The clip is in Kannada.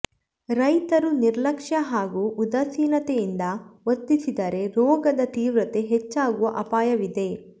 ರೈತರು ನಿರ್ಲಕ್ಷ ಹಾಗೂ ಉದಾಸೀನತೆಯಿಂದ ವರ್ತಿಸಿದರೆ ರೋಗದ ತೀವ್ರತೆ ಹೆಚ್ಚಾಗುವ ಅಪಾಯವಿದೆ